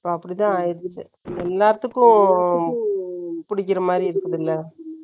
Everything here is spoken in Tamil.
இப்ப அப்படித்தான் ஆயிருச்சு. எல்லாத்துக்கும் புடிக்கிற மாதிரி இருக்குது இல்ல?